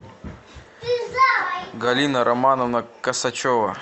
галина романовна косачева